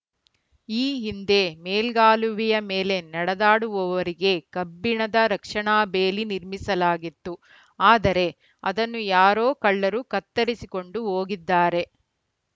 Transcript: ಈ ಹಿಂದೆ ಮೇಲ್ಗಾಲುವೆಯ ಮೇಲೆ ನಡೆದಾಡುವವರಿಗೆ ಕಬ್ಬಿಣದ ರಕ್ಷಣಾ ಬೇಲಿ ನಿರ್ಮಿಸಲಾಗಿತ್ತು ಆದರೆ ಅದನ್ನು ಯಾರೋ ಕಳ್ಳರು ಕತ್ತರಿಸಿಕೊಂಡು ಹೋಗಿದ್ದಾರೆ